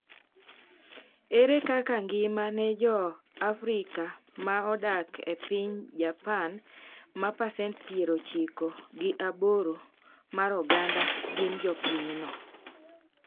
Ere kaka ngima ne Joafrika ma odak e piny Japan ma pasent piero ochiko gi aboro mar oganda gin jopinyno?